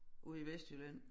Ude i Vestjylland